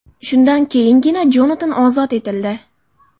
Shundan keyingina Jonatan ozod etildi.